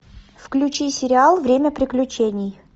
включи сериал время приключений